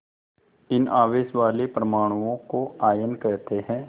इन आवेश वाले परमाणुओं को आयन कहते हैं